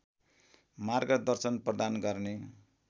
मार्गदर्शन प्रदान गर्ने